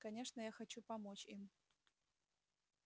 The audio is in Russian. конечно я хочу помочь им